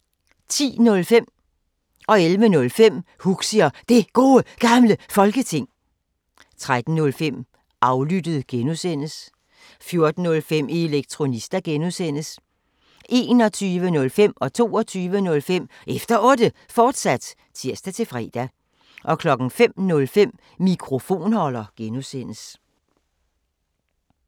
10:05: Huxi og Det Gode Gamle Folketing 11:05: Huxi og Det Gode Gamle Folketing, fortsat 13:05: Aflyttet G) 14:05: Elektronista (G) 21:05: Efter Otte, fortsat (tir-fre) 22:05: Efter Otte, fortsat (tir-fre) 05:05: Mikrofonholder (G)